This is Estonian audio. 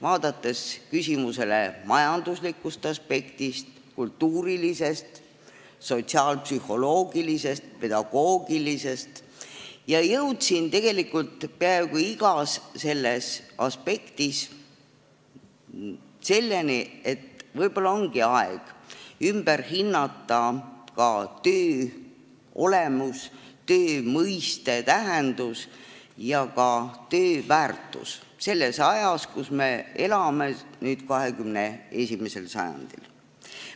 Vaadates küsimusele majanduslikust, kultuurilisest, sotsiaalpsühholoogilisest ja pedagoogilisest aspektist, jõudsin tegelikult peaaegu igas aspektis selleni, et võib-olla ongi aeg hinnata töö olemus, mõiste ja tähendus ning ka töö väärtus ümber, teha seda just selles ajas, kus me elame, nüüd, 21. sajandil.